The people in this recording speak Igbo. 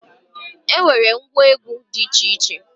E nwere ngwa egwu dị iche iche